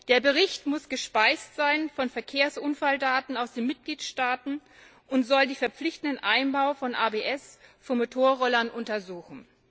Der Bericht muss gespeist sein mit Verkehrsunfalldaten aus den Mitgliedstaaten und soll den verpflichtenden Einbau von ABS für Motorroller untersuchen.